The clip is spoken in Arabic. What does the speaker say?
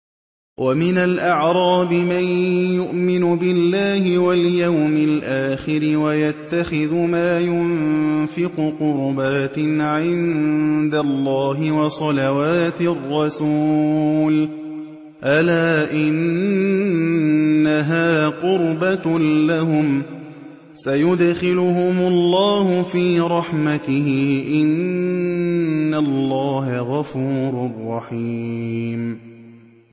وَمِنَ الْأَعْرَابِ مَن يُؤْمِنُ بِاللَّهِ وَالْيَوْمِ الْآخِرِ وَيَتَّخِذُ مَا يُنفِقُ قُرُبَاتٍ عِندَ اللَّهِ وَصَلَوَاتِ الرَّسُولِ ۚ أَلَا إِنَّهَا قُرْبَةٌ لَّهُمْ ۚ سَيُدْخِلُهُمُ اللَّهُ فِي رَحْمَتِهِ ۗ إِنَّ اللَّهَ غَفُورٌ رَّحِيمٌ